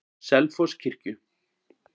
Selfosskirkju